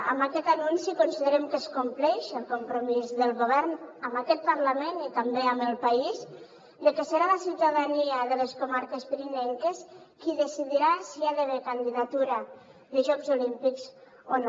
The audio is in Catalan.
amb aquest anunci considerem que es compleix el compromís del govern amb aquest parlament i també amb el país de que serà la ciutadania de les comarques pirinenques qui decidirà si hi ha d’haver candidatura de jocs olímpics o no